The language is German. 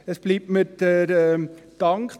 Mir bleibt der Dank.